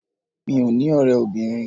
Mí ò ní ọ̀rẹ́ obìnrin.